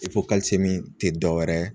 tɛ dɔwɛrɛ ye.